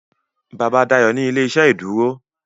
Bàbá Dayo ní ilé-iṣẹ́ ìdúró